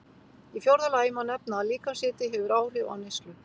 Í fjórða lagi má nefna að líkamshiti hefur áhrif á neyslu.